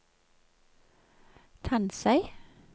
Tansøy